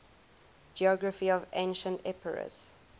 geography of ancient epirus